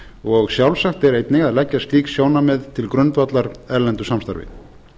og sjálfsagt er einnig að leggja slík sjónarmið til grundvallar erlendu samstarfi